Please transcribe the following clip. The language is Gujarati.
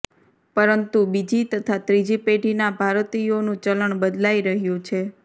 પરંતુ બીજી તથા ત્રીજી પેઢીના ભારતીયોનું ચલણ બદલાઇ રહ્યું છે